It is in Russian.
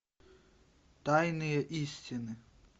тайные истины